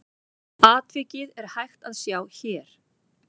Atvikið er hægt að sjá hér.